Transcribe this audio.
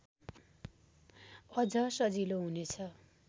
अझ सजिलो हुनेछ